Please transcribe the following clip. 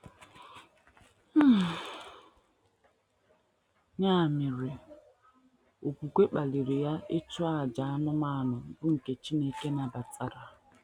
Ya mere, okwukwe kpaliri ya ịchụ àjà anụmanụ bụ́ nke Chineke nabatara.